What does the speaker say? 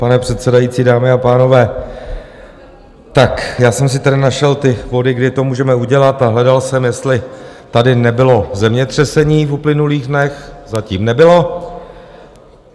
Pane předsedající, dámy a pánové, tak já jsem si tady našel ty body, kdy to můžeme udělat, a hledal jsem, jestli tady nebylo zemětřesení v uplynulých dnech - zatím nebylo.